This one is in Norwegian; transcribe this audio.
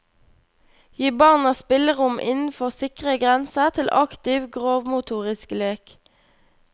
Gi barna spillerom innenfor sikre grenser til aktiv grovmotorisk lek.